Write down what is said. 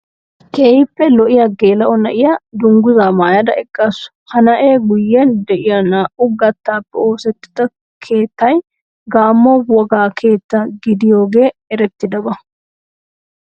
Keehippe lo"iya geela'o na'iya dungguzzaa maayada eqqaasu. Ha na'ee guyyen de'iya naa"u gattaappe oosettida keettay gamo wogaa keettaa gidiyogee erettidaba.